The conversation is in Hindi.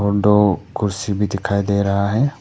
और दो कुर्सी भी दिखाई दे रहा है।